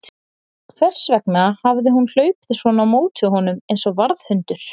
Hvers vegna hafði hún hlaupið svona á móti honum eins og varðhundur?